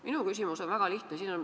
Minu küsimus on väga lihtne.